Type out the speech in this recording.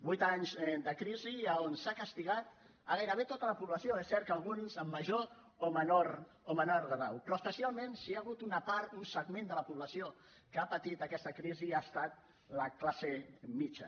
vuit anys de crisi on s’ha castigat gairebé tota la població és cert que alguns en major o menor grau però especialment si hi ha hagut una part un segment de la població que ha patit aquesta crisi ha estat la classe mitjana